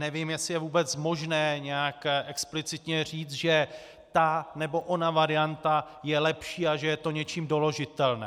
Nevím, jestli je vůbec možné nějak explicitně říct, že ta nebo ona varianta je lepší a že je to něčím doložitelné.